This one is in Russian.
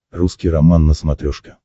русский роман на смотрешке